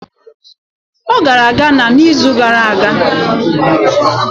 Ọ gara Ghana n'izu gara aga.